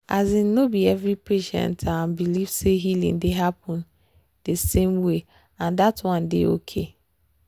asin no be every patient eh believe say healing dey happen di same way and that one dey okay.